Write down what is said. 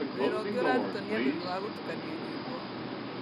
Wĩra ũngĩ ũrarutwo nĩ andũ nĩ wa gũtukania nyĩmbo.